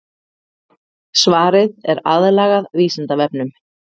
Svarið er aðlagað Vísindavefnum.